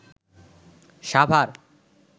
Savar